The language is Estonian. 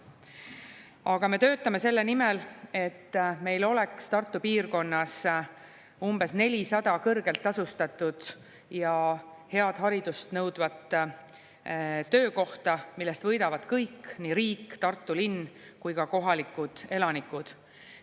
Aga me töötame selle nimel, et meil oleks Tartu piirkonnas umbes 400 kõrgelt tasustatud ja head haridust nõudvat töökohta, millest võidavad kõik – nii riik, Tartu linn kui ka kohalikud elanikud.